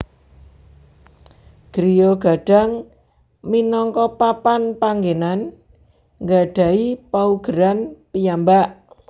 Griya Gadang minangka papan panggenan nggadhahi paugeran piyambak